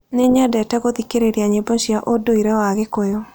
Nĩ nyendete gũthikĩrĩria nyĩmbo cia Ũndũire wa Gĩkũyũ.